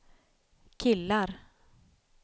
killar